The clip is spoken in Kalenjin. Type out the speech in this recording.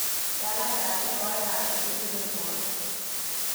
Yaat laindab tyenwogikab chegichulen borto